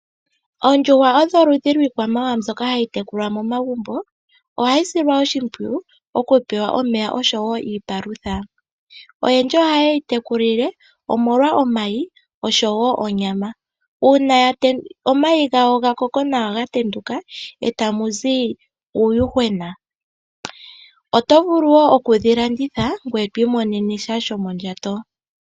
Oondjuhwa odho oludhi lwiikwamawawa mbyoka hayi tekulwa momagumbo. Ohayi silwa oshimpwuyu okupewa omeya nosho wo iipalutha. Oyendji ohaye dhi tekula omolwa omayi osho wo onyama. Uuna ya tendula omayi gawo ga koko nawa, ohayi tendula e tamu zi uuyuhwena. Oto vulu wo okudhi landitha ngoye twiimonene sha shomondjato.